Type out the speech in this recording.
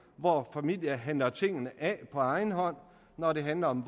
hvor familier handler tingene af på egen hånd når det handler om